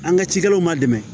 An ka cikɛlaw ma dɛmɛ